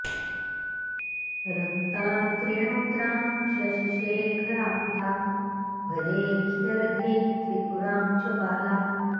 रक्तां त्रिणोत्रां शशिशेखरां तां भजेऽखिलर्ध्यै त्रिपुरां च बालाम्